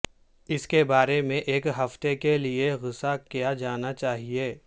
اس کے بارے میں ایک ہفتے کے لئے غصہ کیا جانا چاہئے